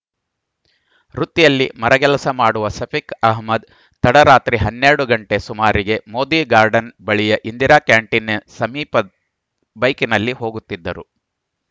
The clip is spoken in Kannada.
ವೃತ್ತಿಯಲ್ಲಿ ಮರಗೆಲಸ ಮಾಡುವ ಸಫಿಕ್‌ ಅಹಮ್ಮದ್‌ ತಡರಾತ್ರಿ ಹನ್ನೆರಡು ಗಂಟೆ ಸುಮಾರಿಗೆ ಮೋದಿ ಗಾರ್ಡ್‌ನ್‌ ಬಳಿಯ ಇಂದಿರಾ ಕ್ಯಾಂಟಿನ್‌ ಸಮೀಪ ಬೈಕಿನಲ್ಲಿ ಹೋಗುತ್ತಿದ್ದರು